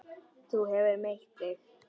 Þú hefur meitt þig!